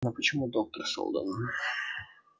но почему доктор сэлдон